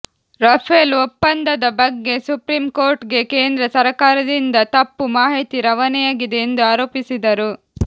Rafale ಒಪ್ಪಂದದ ಬಗ್ಗೆ supreme ಕೋರ್ಟ್ಗೆ ಕೇಂದ್ರ ಸರಕಾರದಿಂದ ತಪ್ಪು ಮಾಹಿತಿ ರವಾನೆಯಾಗಿದೆ ಎಂದು ಆರೋಪಿಸಿದರು